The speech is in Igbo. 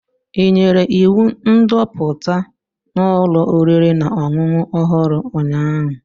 Ị nyere iwu ndoputa n'ụlọ oriri na ọṅụṅụ ọhụrụ, ụnyahụ?